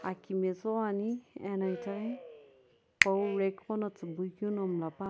aki metsughoi ani ena itaghi pawu rack qo lo tsubui keu mlla pua --